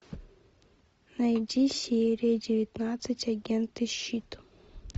найди серия девятнадцать агенты щит